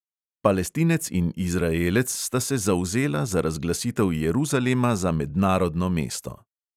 Palestinec in izraelec sta se zavzela za razglasitev jeruzalema za mednarodno mesto.